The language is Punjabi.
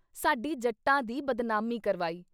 ਸਾਡੀ ਜੱਟਾਂ ਦੀ ਬਦਨਾਮੀ ਕਰਵਾਈ।